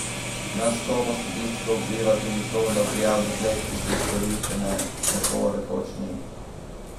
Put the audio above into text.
Na skopo statistiko vpliva tudi to, da prijav deklet, ki so izkoriščane, tako rekoč ni.